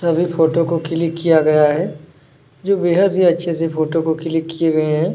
सभी फोटो को क्लिक किया गया है जो बेहद ही अच्छे से फोटो को क्लिक किए गए हैं।